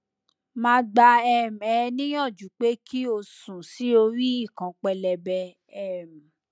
ma gba um e niyanju pe ki o sun si ori ikan pelebe um